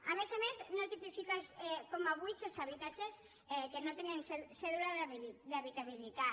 a més a més no tipifica com a buits els habitatges que no tenen cèdula d’habitabilitat